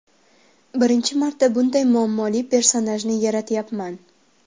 Birinchi marta bunday muammoli personajni yaratyapman.